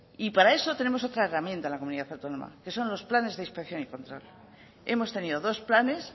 gracias y para eso tenemos otra herramienta en la comunidad autónoma que son los planes de inspección y control hemos tenido dos planes